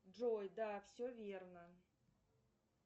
джой да все верно